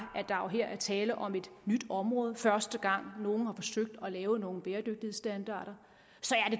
at her er tale om et nyt område og første gang nogle har forsøgt at lave nogle bæredygtighedsstandarder så